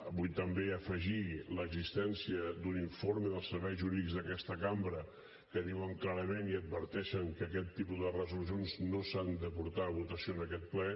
vull també afegir l’existència d’un informe dels serveis jurídics d’aquesta cambra que diuen clarament i adverteixen que aquest tipus de resolucions no s’han de posar a votació en aquest ple